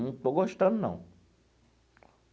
Não estou gostando, não.